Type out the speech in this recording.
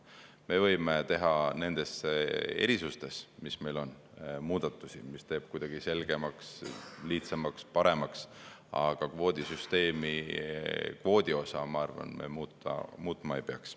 Me võime teha nendes erisustes, mis meil on, muudatusi, mis teeb kuidagi selgemaks, lihtsamaks, paremaks, aga kvoodi osa, ma arvan, me muutma ei peaks.